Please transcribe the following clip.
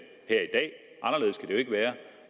jo ikke være